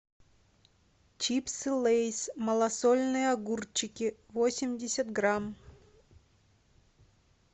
чипсы лейс малосольные огурчики восемьдесят грамм